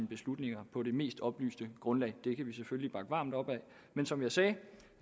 beslutninger på det mest oplyste grundlag det kan vi selvfølgelig bakke varmt op om men som jeg sagde